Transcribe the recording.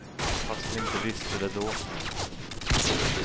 Fast vi inte visste det då.